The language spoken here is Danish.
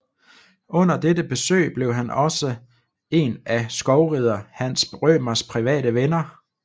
Under dette besøg blev han også en af skovrider Hans Rømers private venner